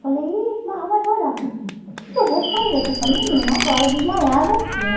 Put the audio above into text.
Falei, ih mas mas olha, o que que eu vou fazer com essa menina agora, desmaiada aqui, né?